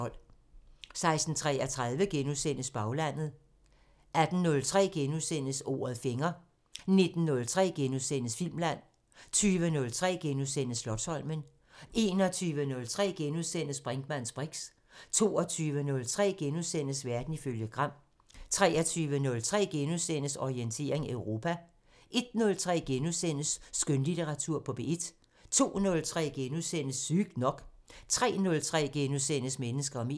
16:33: Baglandet * 18:03: Ordet fanger * 19:03: Filmland * 20:03: Slotsholmen * 21:03: Brinkmanns briks * 22:03: Verden ifølge Gram * 23:03: Orientering Europa * 01:03: Skønlitteratur på P1 * 02:03: Sygt nok * 03:03: Mennesker og medier *